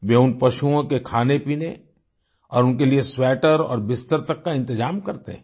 वे उन पशुओं के खानेपीने और उनके लिए स्वेटर और बिस्तर तक का इंतजाम करते हैं